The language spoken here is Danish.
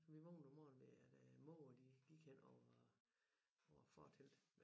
Sov vi vågnede om morgenen ved at øh måger de gik henover over fortelt